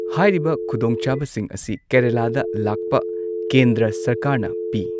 ꯍꯥꯏꯔꯤꯕ ꯈꯨꯗꯣꯡꯆꯥꯕꯁꯤꯡ ꯑꯁꯤ ꯀꯦꯔꯂꯥꯗ ꯂꯥꯛꯄ ꯀꯦꯟꯗ꯭ꯔ ꯁꯔꯀꯥꯔꯅ ꯄꯤ꯫